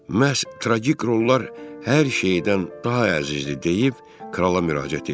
Məhz tragik rollar hər şeydən daha əzizdir deyib krala müraciət etdi.